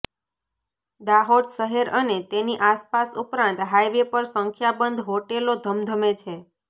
દાહોદ શહેર અને તેની આસપાસ ઉપરાંત હાઇવે પર સંખ્યાબંધ હોટેલો ધમધમે છે